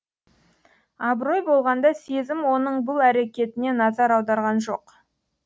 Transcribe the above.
абырой болғанда сезім оның бұл әрекетіне назар аударған жоқ